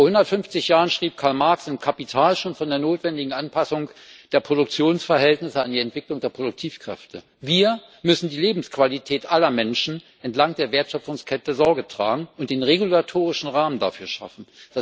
Vor 150 Jahren schrieb Karl Marx im Kapital schon von der notwendigen Anpassung der Produktionsverhältnisse an die Entwicklung der Produktivkräfte. Wir müssen für die Lebensqualität aller Menschen entlang der Wertschöpfungskette Sorge tragen und den regulatorischen Rahmen dafür schaffen.